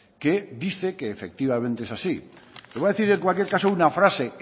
que dice que efectivamente es así voy a decir en cualquier caso una frase